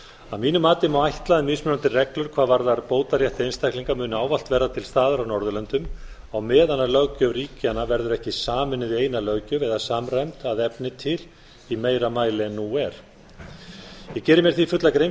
að mínu mati má ætla að mismunandi reglur hvað varðar bótarétt einstaklinga muni ávallt verða til staðar á norðurlöndum á meðan löggjöf ríkjanna verður ekki sameinuð í eina löggjöf eða samræmd að efni til í meira mæli en nú er ég geri mér því fulla grein